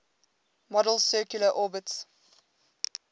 model's circular orbits